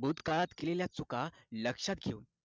भूत काळात केलेल्या चुका लक्षात ठेवून